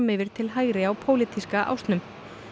yfir til hægri á pólitíska ásnum